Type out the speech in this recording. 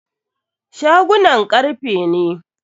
Shagunan karfe ne.